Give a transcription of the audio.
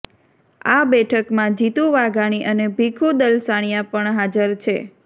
આ બેઠકમાં જીતુ વાઘાણી અને ભીખુ દલસાણીયા પણ હાજર છે